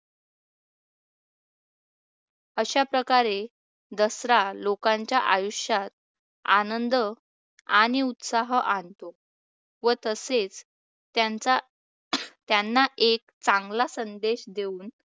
अशाप्रकारे दसरा लोकांच्या आयुष्यात आनंद आणि उत्साह आणतो व तसेच त्यांचा त्यांना एक चांगला संदेश देऊन